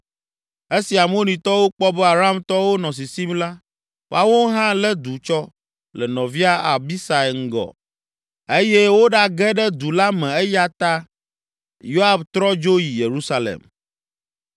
Esi Amonitɔwo kpɔ be Aramtɔwo nɔ sisim la, woawo hã lé du tsɔ le nɔvia Abisai ŋgɔ eye woɖage ɖe du la me eya ta Yoab trɔ dzo yi Yerusalem.